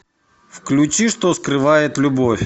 включи что скрывает любовь